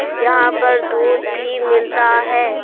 यहां पर दूध भी मिलता है।